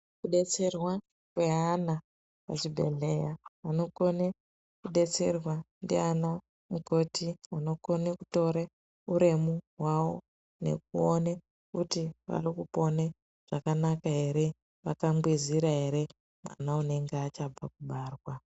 Kudetserwa kweana muzvibhedhlera vanogone kudetserwa ndaana mukoti vanogone kutore uremu hwavo nekuone kuti vari kupone zvakanaka here, vatambuzira here mwana unenge achabva kubarwa.